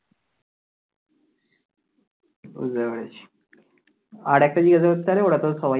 আর একটা জিজ্ঞাসা করতে পারে ওরা তো সবাই জানে